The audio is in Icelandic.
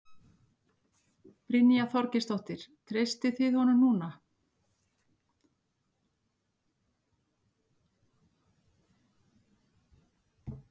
Brynja Þorgeirsdóttir: Treystið þið honum núna?